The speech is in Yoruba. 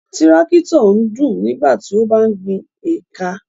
Tírákítọ̀ ń dún nígbà tí ó ń gbin éékà.